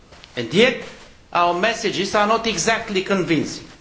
And yet our messages are not exactly convincing.